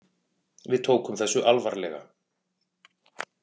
Við tókum þessu alvarlega.